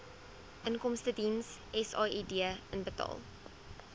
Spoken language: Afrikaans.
inkomstediens said inbetaal